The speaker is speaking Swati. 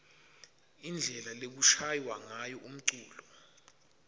indlela lekushaywa ngayo umculo